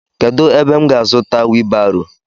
Kedụ ebe m ga azuta wiibaro?